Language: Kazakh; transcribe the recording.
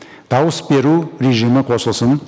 дауыс беру режимі қосылсын